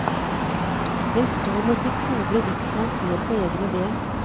Den sto med sitt sobre riksmål helt på egne ben.